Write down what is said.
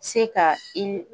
Se ka i